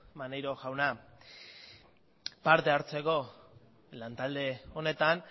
maneiro jauna parte hartzeko lantalde honetan